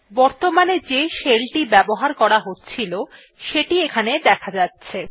বর্তমানে যে শেল টি ব্যবহার করা হচ্ছিল সেটি এখানে দেখা যাচ্ছে